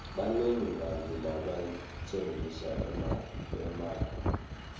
banengi bantfu labatsengisa emakha